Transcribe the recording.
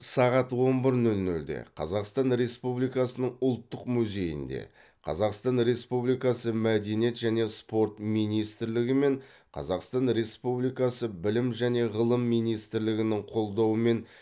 сағат он бір нөл нөлде қазақстан республикасының ұлттық музейінде қазақстан республикасы мәдениет және спорт министрлігі мен қазақстан республикасы білім және ғылым министрлігінің қолдауымен